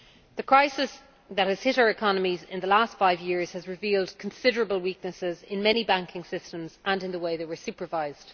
The crisis that has hit our economies in the last five years has revealed considerable weaknesses in many banking systems and in the way they were supervised.